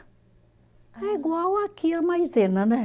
É igual aqui a maisena, né?